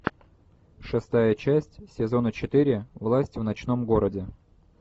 шестая часть сезона четыре власть в ночном городе